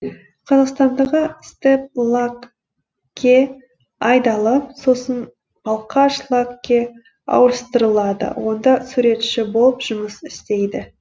қазақстандағы степлаг ке айдалып сосын балқашлаг ке ауыстырылады онда суретші болып жұмыс істейді